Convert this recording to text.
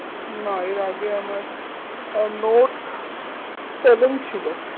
না এর আগে আমার আহ নোট সেভেন ছিল